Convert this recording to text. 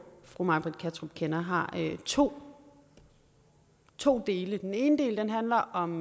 fru may britt kattrup kender har to to dele den ene del handler om